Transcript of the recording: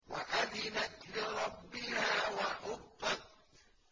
وَأَذِنَتْ لِرَبِّهَا وَحُقَّتْ